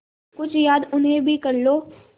कुछ याद उन्हें भी कर लो